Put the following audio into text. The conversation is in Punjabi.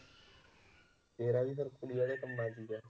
ਤੇਰਾ ਵੀ ਫਿਰ ਕੁੜੀ ਵਾਲੇ ਕੰਮਾਂ ਚ ਹੀ ਹੈ।